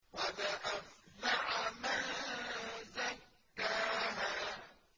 قَدْ أَفْلَحَ مَن زَكَّاهَا